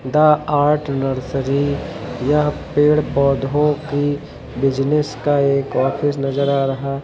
the art nursery यह पेड़ पौधों की बिज़नेस का एक ऑफिस नजर आ रहा--